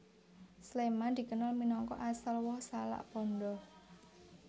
Sléman dikenal minangka asal woh salak pondoh